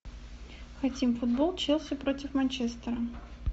хотим футбол челси против манчестера